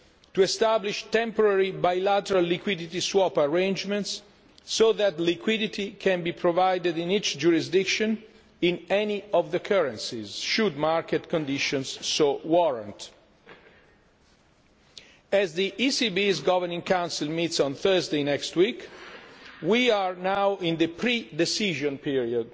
to establish temporary bilateral liquidity swap arrangements so that liquidity can be provided in each jurisdiction in any of the currencies, should market conditions so warrant. As the ECB's Governing Council meets on Thursday next week, we are now in the pre decision period,